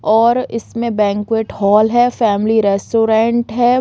और इसमें banquet hall है फैमिली रेस्टोरेंट है।